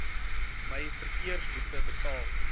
my verkeersboete betaal